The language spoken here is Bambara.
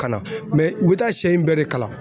Ka na mɛ u bɛ taa sɛ in bɛɛ de kalan